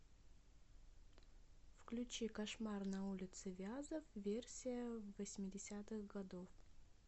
включи кошмар на улице вязов версия восьмидесятых годов